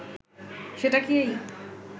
সেটা কি এই